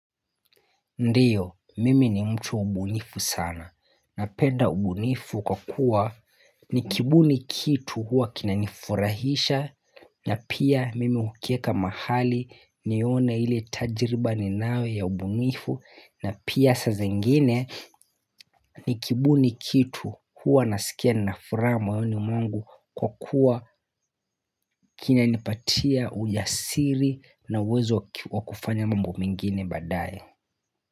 Ndiyo, mimi ni mtu ubunifu sana napenda ubunifu kwa kuwa ni kibuni kitu huwa kina nifurahisha. Na pia mimi hukeka mahali nione ile tajiriba ninayo ya ubunifu na pia saa zengine. Ni kibuni kitu huwa nasikia nina furaha moyoni mwangu kwa kuwa kina nipatia ujasiri na uwezo wakufanya mambo mengine baadaye.